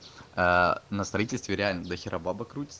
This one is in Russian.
на строительстве реально до хера бабок крутится